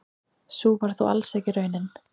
Sú var þó alls ekki raunin.